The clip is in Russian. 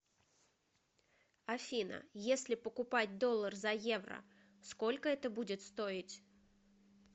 афина если покупать доллар за евро сколько это будет стоить